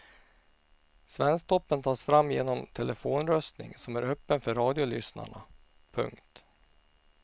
Svensktoppen tas fram genom telefonröstning som är öppen för radiolyssnarna. punkt